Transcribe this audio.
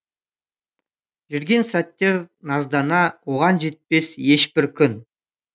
жүрген сәттер наздана оған жетпес ешбір күн